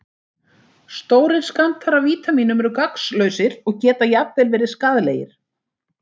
Stórir skammtar af vítamínum eru gagnslausir og geta jafnvel verið skaðlegir.